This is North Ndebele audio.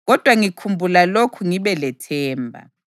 Kodwa ngikhumbula lokhu ngibe lethemba: